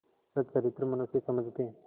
सच्चरित्र मनुष्य समझते